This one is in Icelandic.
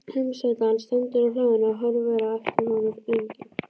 Heimasætan stendur á hlaðinu og horfir á eftir honum lengi.